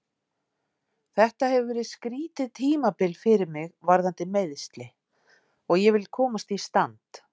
Þetta hefur verið skrýtið tímabil fyrir mig varðandi meiðsli og ég vil komast í stand.